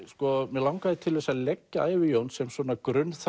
mig langaði til þess að leggja ævi Jóns sem svona